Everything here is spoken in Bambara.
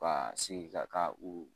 Ka segin ka taa u